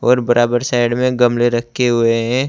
और बराबर साइड में गमले रखे हुए हैं।